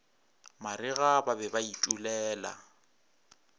marega ba be ba itulela